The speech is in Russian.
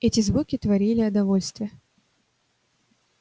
эти звуки творили о довольстве